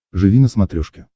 живи на смотрешке